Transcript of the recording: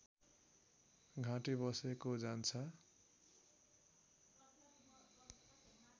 घाँटी बसेको जान्छ